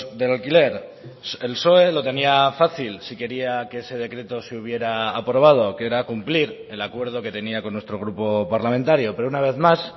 del alquiler el psoe lo tenía fácil si quería que ese decreto se hubiera aprobado que era cumplir el acuerdo que tenía con nuestro grupo parlamentario pero una vez más